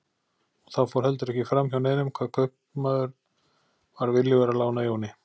Og það fór heldur ekki fram hjá neinum hvað kaupmaður var viljugur að lána Jóni.